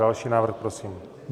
Další návrh, prosím.